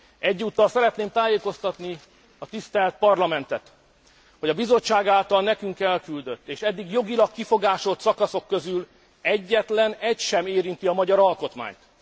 Egyúttal szeretném tájékoztatni a tisztelt Parlamentet, hogy a Bizottság által nekünk elküldött, és eddig jogilag kifogásolt szakaszok közül egyetlen egy sem érinti a magyar alkotmányt.